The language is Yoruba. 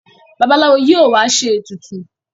Babalawo yíò wá ṣe ètùtù.